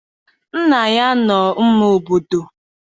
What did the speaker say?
Nna ya anọ n'ama obodo?